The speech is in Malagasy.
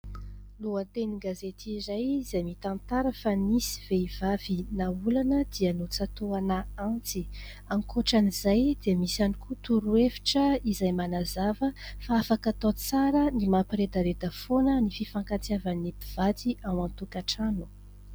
Lohateny gazety iray izay mitantara fa : nisy vehivavy naolana dia notsatoana antsy, ankoatran'izay dia misy ihany koa toro hevitra izay manazava fa afaka tao tsara ny mampiredareda foana ny fifankatiavan'ny mpivady ao an-tokatrano.